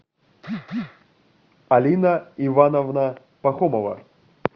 алина ивановна пахомова